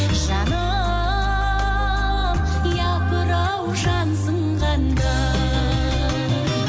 жаным япыр ау жансың қандай